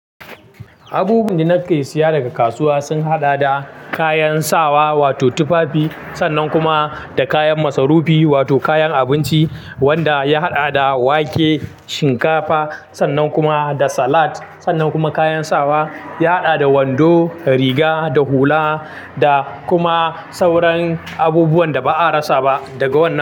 Abubuwan da nake saya daga kasuwa sun haɗa da kayan sawa wato tufafi sannan kuma da kayan masarufi wato kayan abinci wanda ya haɗa da wake, shinkafa sannan kuma da salat sannan kuma kayan sawa ya haɗa da wando, riga da hula da kuma sauran abubuwan da ba a rasa ba daga wannan.